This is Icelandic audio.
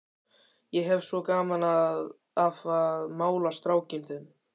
Ég hef svo gaman af að mála strákinn þinn.